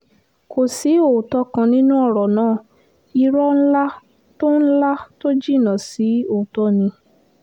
kò sí òótọ́ kan nínú ọ̀rọ̀ náà ìrò ńlá tó ńlá tó jinná sí òótọ́ ni